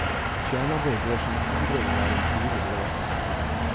Fjernarbeid bør som hovedregel være en frivillig ordning.